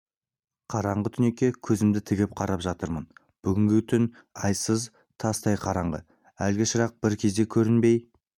қараңғы түнекке көзімді тігіп қарап жатырмын бүгінгі түн айсыз тастай қараңғы әлгі шырақ бір кезде көрінбей